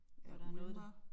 Der ulmer